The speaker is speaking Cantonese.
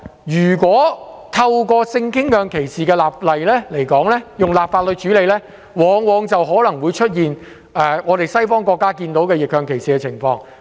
如果透過立法形式處理性傾向歧視，往往可能會出現西方國家的逆向歧視情況。